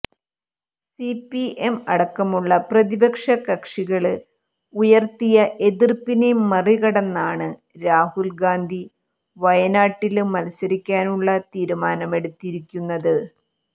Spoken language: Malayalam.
സിപിഎം അടക്കമുളള പ്രതിപക്ഷ കക്ഷികള് ഉയര്ത്തിയ എതിര്പ്പിനെ മറികടന്നാണ് രാഹുല് ഗാന്ധി വയനാട്ടില് മത്സരിക്കാനുളള തീരുമാനമെടുത്തിരിക്കുന്നത്